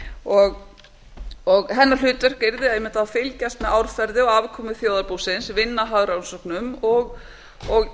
ríkisendurskoðun og hennar hlutverk yrði einmitt að fylgjast með árferði og afkomu þjóðarbúsins vinna að hagrannsóknum og